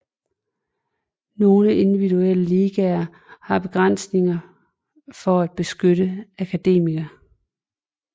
Nogle individuelle ligaer har begrænsninger for at beskytte akademier